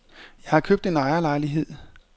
Jeg har købt en ejerlejlighed.